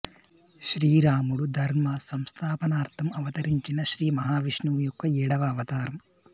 శ్రీరాముడు ధర్మ సంస్థాపనార్థం అవతరించిన శ్రీ మహా విష్ణువు యొక్క ఏడవ అవతారం